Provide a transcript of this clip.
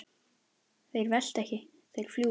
Þeir velta ekki, þeir fljúga.